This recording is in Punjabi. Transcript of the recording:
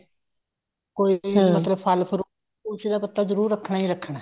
ਕੋਈ ਵੀ ਫਲ fruit ਤੁਲਸੀ ਦਾ ਪੱਤਾ ਜਰੂਰ ਰੱਖਣਾ ਹੀ ਰੱਖਣਾ